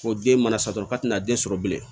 Ko den mana sago ka tɛna den sɔrɔ bilen